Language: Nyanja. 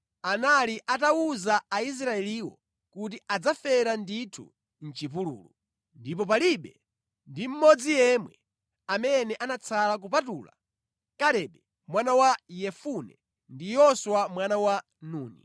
Chifukwa Yehova anali atawuza Aisraeliwo kuti adzafera ndithu mʼchipululu, ndipo palibe ndi mmodzi yemwe amene anatsala kupatula Kalebe mwana wa Yefune ndi Yoswa mwana wa Nuni.